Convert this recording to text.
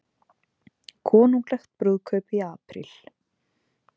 Konunglegt brúðkaup í apríl